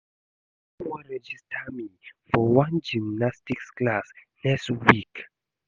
My mama wan register me for one gymnastics class next week